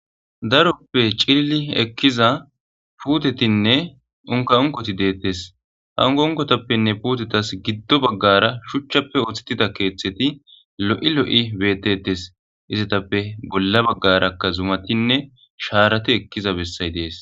daroppe cilili ekkiza putetinne unka unkoti deettes hangonkotappenne puutetas giddo baggara shuchchappe oththettida keeththeti lo7i lo7i beettetes izatappe bolla baggarakka zumatinne shaarati ekkiza bessay dees